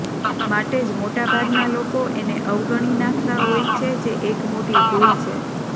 માટે જ મોટા ભાગના લોકો એને અવગણી નાખતા હોય છે જે એક મોટી ભૂલ છે